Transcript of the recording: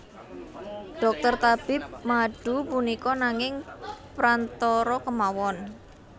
Dhokter tabib madu punika nanging prantara kemawon